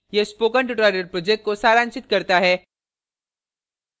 यह spoken tutorial project को सारांशित करता है